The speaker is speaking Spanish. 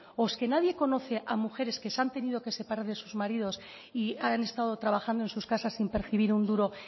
o es que nadie conoce a mujeres que se han tenido que separar de sus maridos y han estado trabajando en sus casas sin percibir un duro